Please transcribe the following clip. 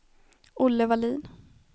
Olle Wallin